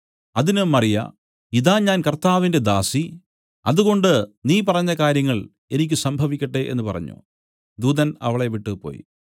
അതിന് മറിയ ഇതാ ഞാൻ കർത്താവിന്റെ ദാസി അതുകൊണ്ട് നീ പറഞ്ഞ കാര്യങ്ങൾ എനിക്ക് സംഭവിക്കട്ടെ എന്നു പറഞ്ഞു ദൂതൻ അവളെ വിട്ടുപോയി